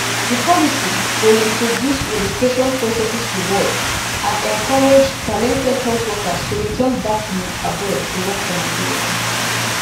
di policy go introduce registration processes rewards and encourage talented health workers to return back from abroad to work for nigeria